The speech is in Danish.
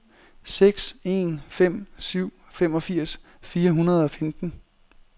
seks en fem syv femogfirs fire hundrede og femten